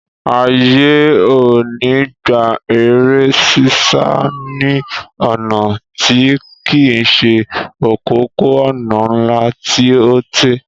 Àyè ò ní gba eré sísá ní ọ̀nà tí kìí se òpópó-ònà ńlá tí ó tẹ́